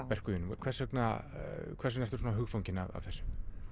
verkum þínum hvers vegna hvers vegna ertu svona hugfangin af þessu